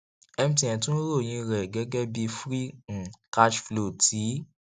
mtn tún ròyìn rẹ gẹgẹ bí free um cash flow ti